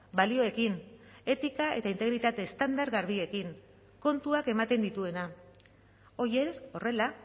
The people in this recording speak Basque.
balioekin etika eta integritate estandar garbiekin kontuak ematen dituena horiek horrela